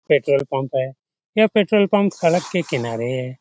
Petrol pump है यह petrol pump सड़क के किनारे है ।